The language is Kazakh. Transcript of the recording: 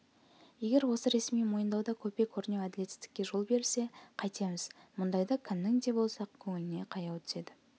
егер осы ресми мойындауда көпе-көрнеу әділетсіздікке жол берілсе қайтеміз мұндайда кімнің де болса көңіліне қаяу түседі